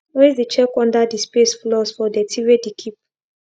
always de check under de space floors for dirty wey de keep